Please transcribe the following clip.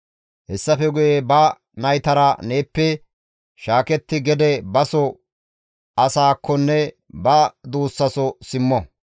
Hessafe guye ba naytara neeppe shaaketti gede baso asakkonne ba duussaso simmo.